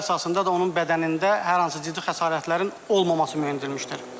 Görüntülər əsasında da onun bədənində hər hansı ciddi xəsarətlərin olmaması müəyyən edilmişdir.